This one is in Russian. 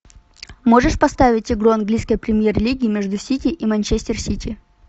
можешь поставить игру английской премьер лиги между сити и манчестер сити